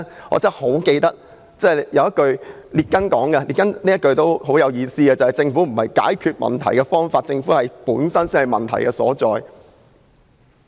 "我記得列根說過一句很有意思的話："政府並不是解決問題的方法，政府本身才是問題所在。